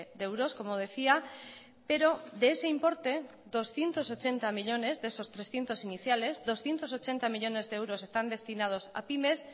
de euros como decía pero de ese importe doscientos ochenta millónes de esos trescientos iniciales doscientos ochenta millónes de euros están destinados a pymes